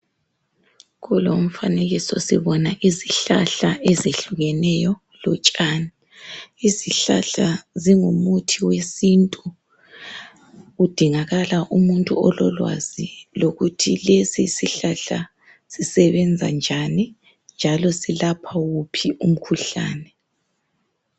Kulomfanekiso sibona izihlahla ezehlukemeyo lotshani, izihlahla zingumuthi wesintu kudingakala umuntu ololwazi lokuthi lesi isihlahla sisebenze njani njalo selepha wuphi umkhuhlani.